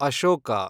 Ashoka